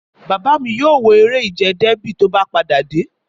Bàbá mi yóò wo eré ìje Dẹ́bì tó bá padà dé